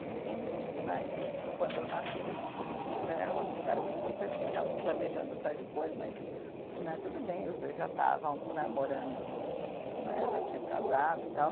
Se bem dizem que né que, quando eu nasci, eles queriam que né, eles ficaram meio surpresos, que eles estavam planejando para depois, mas né tudo bem, os dois já estavam namorando no né, já tinham casado e tal.